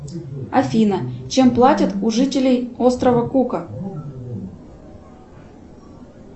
афина чем платят у жителей острова кука